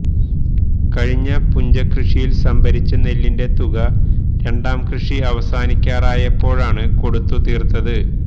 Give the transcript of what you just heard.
കഴിഞ്ഞ പുഞ്ചകൃഷിയില് സംഭരിച്ച നെല്ലിന്റെ തുക രണ്ടാം കൃഷി അവസാനിക്കാറായപ്പോഴാണ് കൊടുത്തു തീര്ത്തത്